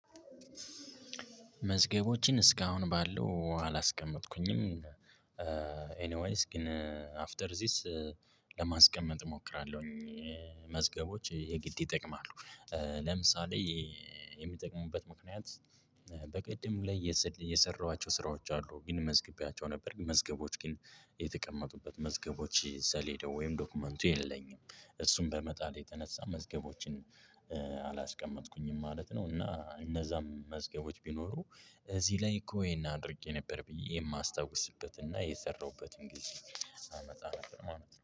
መዝገቦችን እስካሁን ባለው አላስቀመጥኩኝም። ግን አፍተር ዚስ ለማስቀመጥ እሞክራለሁኝ። መዝገቦች የግድ ይጠቅማሉ ለምሳሌ የሚጠቅሙበት ምክንያት በቅድም ላይ የሰ የሰራኋቸው ስራዎች አሉ ግን መዝግቢያቸው ነበር መዝገቦች ግን የተቀመጡበት መዝገቦች ሰሌዳው ወይም ዶክመንቱ የለኝም። እሱን በመጣሌ የተነሳ መዝገቦችን አላስቀመጥኩኝም ማለት ነው፤ እና እነዛም መዝገቦች ቢኖሩ እዚህ ላይ እኮ ይሄን አድርጌ ነበር ብዬ የማስታውስበት እና የሰራሁበትን ጊዜ አመጣ ነበር ማለት ነው።